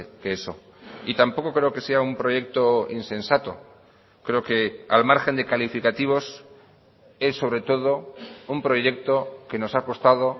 que eso y tampoco creo que sea un proyecto insensato creo que al margen de calificativos es sobre todo un proyecto que nos ha costado